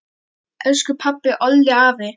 Elsku pabbi, Olli, afi.